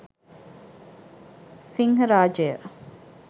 sinharajaya